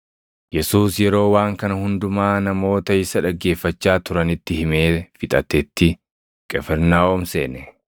Yesuus yeroo waan kana hundumaa namoota isa dhaggeeffachaa turanitti himee fixatetti, Qifirnaahom seene.